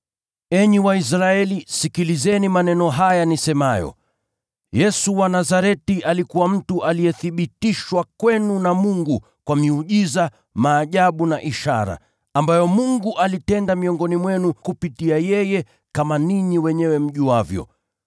“Enyi Waisraeli, sikilizeni maneno haya nisemayo: Yesu wa Nazareti alikuwa mtu aliyethibitishwa kwenu na Mungu kwa miujiza, maajabu na ishara, ambayo Mungu alitenda miongoni mwenu kupitia kwake, kama ninyi wenyewe mjuavyo.